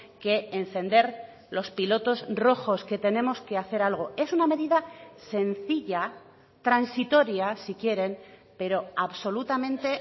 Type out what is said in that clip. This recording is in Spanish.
que encender los pilotos rojos que tenemos que hacer algo es una medida sencilla transitoria si quieren pero absolutamente